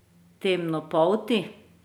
Temnopolti?